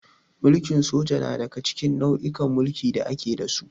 Mulkin soja na daga cikin nau'ikan mulki da ake da su.